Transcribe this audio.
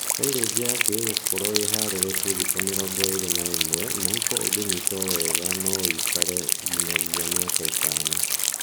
Saileji yaku ĩgũkorwo ĩ harĩrĩku thikũ mĩrongo ĩli na ĩmwe mũhuko ũngĩnyitio wega na noĩikare nginyagia miaka itano